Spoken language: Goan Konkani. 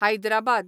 हायद्राबाद